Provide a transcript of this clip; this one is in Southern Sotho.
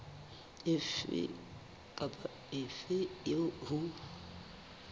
efe kapa efe eo ho